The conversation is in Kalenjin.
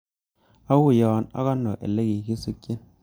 Auyo ak ano ole kikisikchin